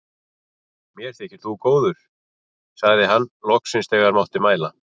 Mér þykir þú góður, sagði hann þegar hann loks mátti mæla.